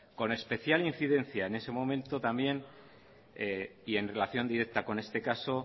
con especial incidencia en ese momento también y en relación directa con este caso